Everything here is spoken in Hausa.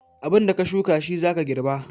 Abin da ka shuka shi za ka garba